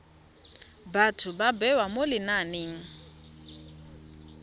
batho ba bewa mo lenaneng